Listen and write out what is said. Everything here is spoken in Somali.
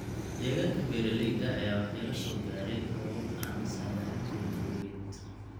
Deegaanka beeralayda ayaa waxyeelo soo gaadhay roobab aan la saadaalin karin awgeed.